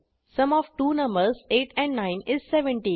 sum of two numbers 8 and 9 is 17